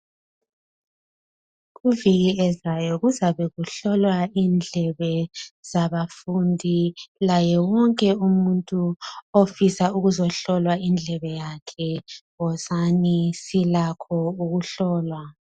Kuviki ezayo kuzabe kuhlolwa indlebe zabafundi laye wonke umuntu ofisa ukuzohlolwa indlebe yakhe. Wozani silakho ukuhlolwa.